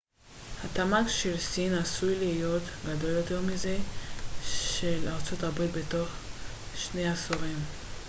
התמ ג של סין עשוי להיות גדול יותר מזה של ארצות הברית בתוך שני עשורים